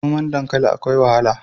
Noman dankali akwai wahala.